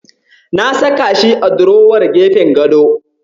Na saka shi a durowar gefen gado.